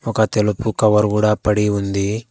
ఒక తెలుగు కవర్ కూడా పడి ఉంది.